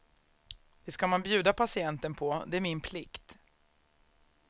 Det ska man bjuda patienten på, det är min plikt.